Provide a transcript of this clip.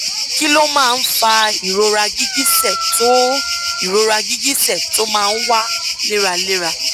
kí ló máa ń fa ìrora gìgísẹ tó ìrora gìgísẹ tó máa ń wá léraléra